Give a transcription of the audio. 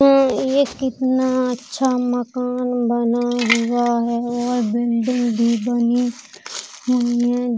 म्म् ये कितना अच्छा मकान बना हुआ है और बिल्डिंग भी बनी हुई है।